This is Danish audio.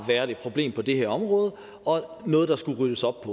været et problem på det her område og noget der skulle ryddes op